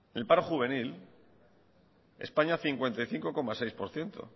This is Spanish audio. el paro juvenil españa cincuenta y cinco coma seis por ciento